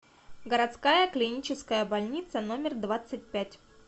городская клиническая больница номер двадцать пять